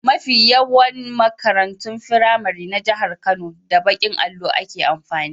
Mafi yawan makarantun firamari na jahar Kano, da baƙin allo ake amfani.